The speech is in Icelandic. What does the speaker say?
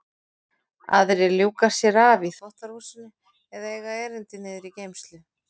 Aðrir ljúka sér af í þvottahúsinu eða eiga erindi niður í geymslu.